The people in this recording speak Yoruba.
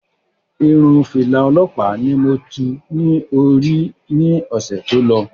Irun fìlà òlọ́ọ̀pá ni mo tú ní orí ní ọ̀sè tí o lọ